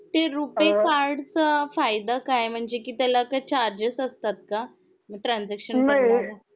ते रुपी कार्ड चा फायदा काय आहे म्हणजे कि त्याला काही चार्जेस असतात का ट्रान्सजेकशन करतांना